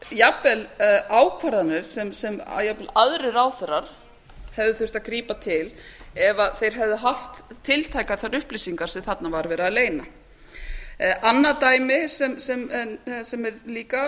jafnvel ákvarðanir sem jafnvel aðrir ráðherrar hefðu þurft að grípa til ef þeir hefðu haft tiltækar þær upplýsingar sem þarna var verið að leyna annað dæmi sem er líka